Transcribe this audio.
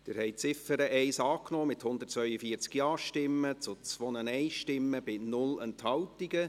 Sie haben die Ziffer 1 angenommen, mit 142 Ja- zu 2 Nein-Stimmen bei 0 Enthaltungen.